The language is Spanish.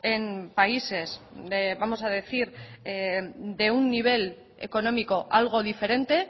en países vamos a decir de un nivel económico algo diferente